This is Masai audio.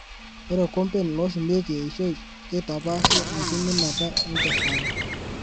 Ore komben loshumieki eishoi keitapashi enkiminata enkesare.